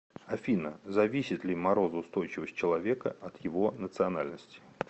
афина зависит ли морозоустойчивость человека от его национальности